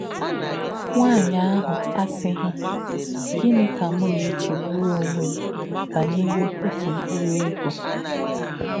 Nwá̄nyí̄ àhū̄ àsí̄ghí̄: ‘Gịnị̄ kā̄ m nā̄-èchè̄gbù̄rù̄ ọ̀nwé̄ m bá̄nyèrè̄ ọ̀tú̄ mkpụ̀rụ́ ègò̄?